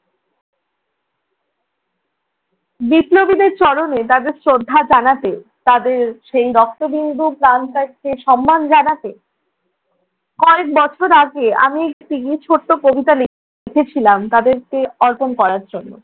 বিপ্লবীদের চরণে তাদের শ্রদ্ধা জানাতে তাদের সেই রক্তবিন্দু প্রাণটাকে সম্মান জানাতে কয়েক বছর আগে আমি একটি ছোট্ট কবিতা লিখেছিলাম তাদেরকে অর্পণ করার জন্য।